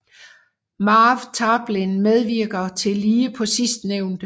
Marv Tarplin medvirker tillige på sidstenævnte